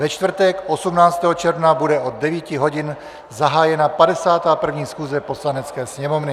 Ve čtvrtek 18. června bude od 9 hodin zahájena 51. schůze Poslanecké sněmovny.